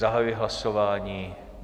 Zahajuji hlasování.